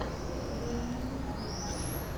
мэйнирин геймс